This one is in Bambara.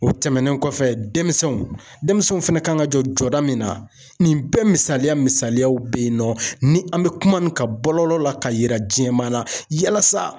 O tɛmɛnen kɔfɛ denmisɛnw, denmisɛnw fɛnɛ ka kan ka jɔ jɔda min na, nin bɛɛ misaliya misaliyaw bɛ yen nɔ, ni an bɛ kuma nin kan bɔlɔlɔ la ka yira diɲɛmana yalasa